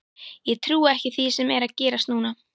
Ég trúi ekki því sem er að gerast núna.